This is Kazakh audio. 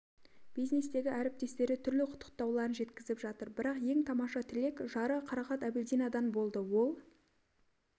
бизнестегі әріптестері түрлі құттықтауларын жеткізіп жатыр бірақ ең тамаша тілек жары қарақат әбілдинадан болды ол